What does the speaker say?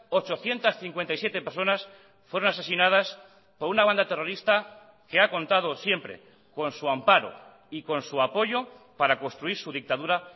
ochocientos cincuenta y siete personas fueron asesinadas por una banda terrorista que ha contado siempre con su amparo y con su apoyo para construir su dictadura